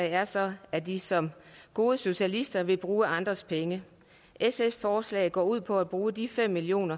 er så at de som gode socialister vil bruge andres penge sfs forslag går ud på at bruge de fem million